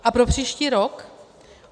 A pro příští rok?